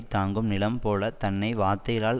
தாங்கும் நிலம் போல தன்னை வார்த்தைகளால்